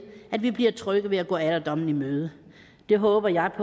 at vi bliver trygge ved at gå alderdommen i møde det håber jeg